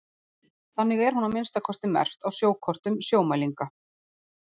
Þannig er hún að minnsta kosti merkt á sjókortum Sjómælinga.